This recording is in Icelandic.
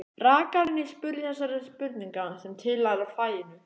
Rakarinn spurði þessara spurninga sem tilheyra faginu: